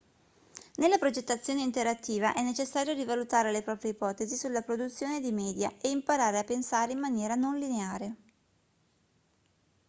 nella progettazione interattiva è necessario rivalutare le proprie ipotesi sulla produzione di media e imparare a pensare in maniera non lineare